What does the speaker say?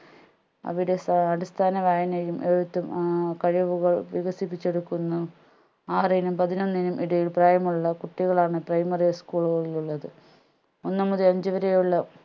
അവിടെ സ അടിസ്ഥന വായനയും എഴുത്തും ഏർ കഴിവുകളും വികസിപ്പിച്ചെടുക്കുന്നു ആറിനും പതിനൊന്നിനും ഇടയിൽ പ്രായമുള്ള കുട്ടികളാണ് primary school ലുകളിൽ ഉള്ളത് ഒന്ന് മുതൽ അഞ്ചുവരെയുള്ള